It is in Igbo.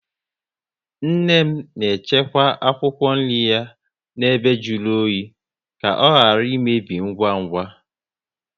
Nne m na echekwa akwụkwọ nri ya na ebe jụrụ oyi ka ọ ghara imebi ngwa ngwa